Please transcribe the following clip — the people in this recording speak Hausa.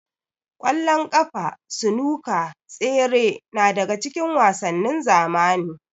Ƙwallon ƙafa, sunuka, tsere na daga cikin wasannin zamani.